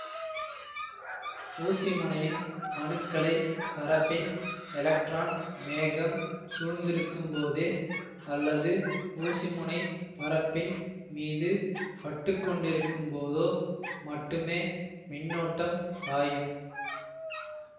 ஊசிமுனையின் அணுக்களை பரப்பின் எலக்ட்ரான் மேகம் சூழ்ந்திருக்கும்போதே அல்லது ஊசிமுனை பரப்பின் மீது பட்டுக்கொண்டிருக்கும்போதோ மட்டுமே மின்னோட்டம் பாயும்